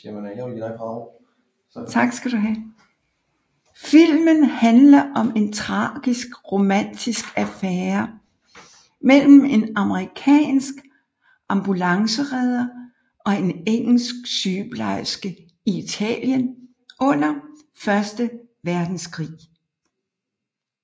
Filmen handler om en tragisk romantisk affære mellem en amerikansk ambulanceredder og en engelsk sygeplejerske i Italien under første verdenskrig